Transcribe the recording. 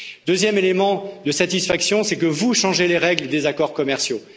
Le deuxième élément de satisfaction est que vous changez les règles des accords commerciaux.